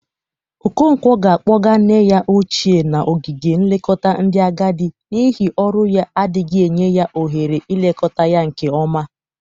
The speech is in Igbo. Okonkwo ga-akpọga nne ya ochie n'ogige nlekọta ndị agadị n'ihi ọrụ ya adịghị enye ya ohere ilekọta ya nke ọma.